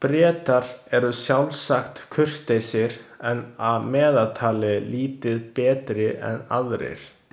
Bretar eru sjálfsagt kurteisir en að meðaltali lítið betri en aðrir.